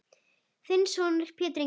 Þinn sonur Pétur Ingi.